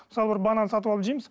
мысалы бір банан сатып алып жейміз